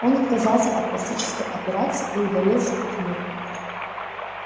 он отказался от пластической операции и удалился от мира